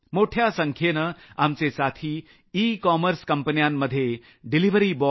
मोठ्या संख्येनं आमचे साथी ई कॉमर्स कंपन्यांमध्ये डिलिव्हरी बॉय